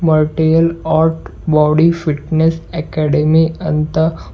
martial art body fitness academy ಅಂತ--